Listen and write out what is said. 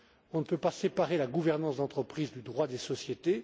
On ne peut pas séparer la gouvernance d'entreprise du droit des sociétés.